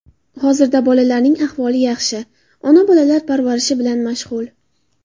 Hozirda bolalarning ahvoli yaxshi, ona bolalar parvarishi bilan mashg‘ul.